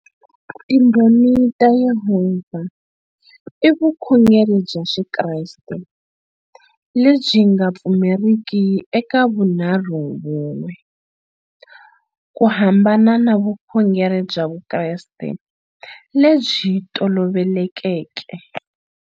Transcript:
Timbhoni ta Yehovha i vukhongeri bya xikreste lebyi nga pfumeriki e ka vunharhuvun'we ku hambana na vukhongeri bya vukreste lebyi tolovelekeke.